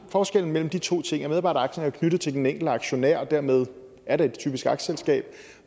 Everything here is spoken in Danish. forskellen mellem de to ting er at medarbejderaktier er knyttet til den enkelte aktionær og dermed er det et typisk aktieselskab